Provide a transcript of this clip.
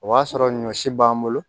O b'a sɔrɔ ɲɔsi b'an bolo